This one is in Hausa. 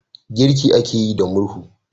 Girki ake yi da murhu